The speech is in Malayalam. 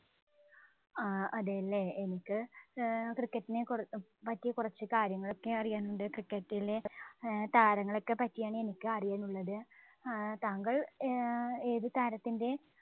ആഹ് അതേല്ലേ. എനിക്ക് cricket ഇനെ കുറ~പറ്റി കുറച്ചു കാര്യങ്ങള്‍ ഒക്കെ അറിയാനുണ്ട്. cricket ഇലെ ഏർ താരങ്ങളെ ഒക്കെ പറ്റിയാണ് എനിക്ക് അറിയാനുള്ളത്. ഏർ താങ്കള്‍ ഏർ ഏതു താരത്തിന്‍റെ